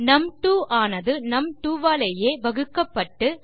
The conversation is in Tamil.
நும்2 ஆனது num2ஆலேயே வகுக்கப்பட்டு